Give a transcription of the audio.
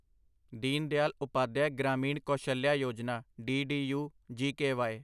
Deen Dayal Upadhyaya Grameen Kaushalya Yojana DDU GKY